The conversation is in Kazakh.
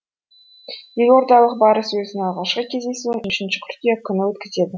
елордалық барыс өзінің алғашқы кездесуін үшінші қыркүйек күні өткізеді